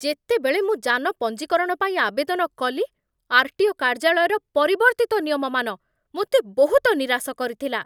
ଯେତେବେଳେ ମୁଁ ଯାନ ପଞ୍ଜୀକରଣ ପାଇଁ ଆବେଦନ କଲି, ଆର୍.ଟି.ଓ. କାର୍ଯ୍ୟାଳୟର ପରିବର୍ତ୍ତିତ ନିୟମମାନ ମୋତେ ବହୁତ ନିରାଶ କରିଥିଲା।